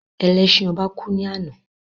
Ẹlẹ́sin ọba kú ní àná